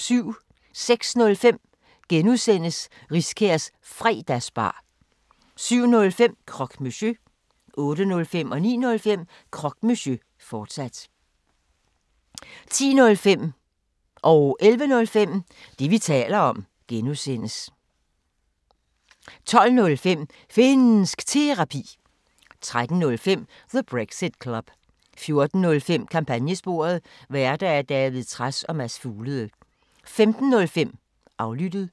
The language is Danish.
06:05: Riskærs Fredagsbar (G) 07:05: Croque Monsieur 08:05: Croque Monsieur, fortsat 09:05: Croque Monsieur, fortsat 10:05: Det, vi taler om (G) 11:05: Det, vi taler om (G) 12:05: Finnsk Terapi 13:05: The Brexit Club 14:05: Kampagnesporet: Værter: David Trads og Mads Fuglede 15:05: Aflyttet